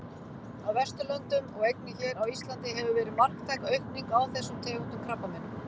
Á Vesturlöndum og einnig hér á Íslandi hefur verið marktæk aukning á þessum tegundum krabbameina.